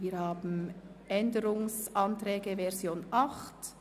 Es liegen Änderungsanträge vor gemäss Version 8.